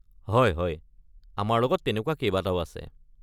হয় হয়, আমাৰ লগত তেনেকুৱা কেইবাটাও আছে।